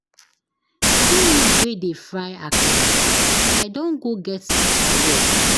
See me wey dey fry akara, I don go get teacher work.